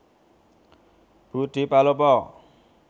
Budi Palopo